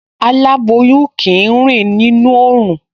Aláboyún kì í rìn nínú oòrùn